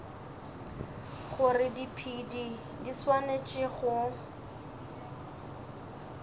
gore diphedi di swanetše go